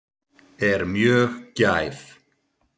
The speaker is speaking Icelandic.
Er mjög gæf.